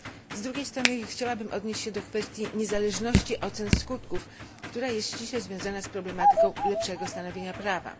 Z drugiej strony chciałabym odnieść się do kwestii niezależności ocen skutków, która jest ściśle związana z problematyką lepszego stanowienia prawa.